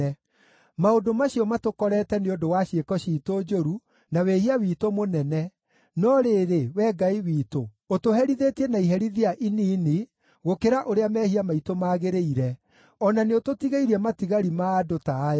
“Maũndũ macio matũkorete nĩ ũndũ wa ciĩko ciitũ njũru na wĩhia witũ mũnene, no rĩrĩ, Wee Ngai witũ ũtũherithĩtie na iherithia inini gũkĩra ũrĩa mehia maitũ magĩrĩire, o na nĩũtũtigĩirie matigari ma andũ ta aya.